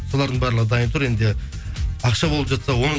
солардың барлығы дайын тұр енді ақша болып жатса оны